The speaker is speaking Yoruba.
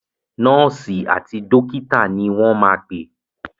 Nọ́ọ̀sì àti dọ́kítà ni wọ́n máa pè.